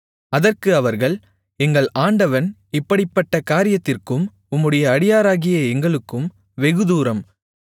அதற்கு அவர்கள் எங்கள் ஆண்டவன் இப்படிப்பட்ட வார்த்தைகளைச் சொல்லுகிறது என்ன இப்படிப்பட்ட காரியத்திற்கும் உம்முடைய அடியாராகிய எங்களுக்கும் வெகுதூரம்